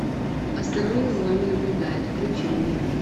осторожно за вами наблюдают включи мне